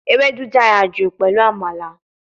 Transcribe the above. Ewedu dara ju pelu Amala